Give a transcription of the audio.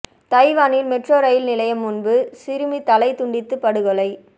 தைவானில் metro rail நிலையம் முன்பு சிறுமி தலை துண்டித்து படுகொலை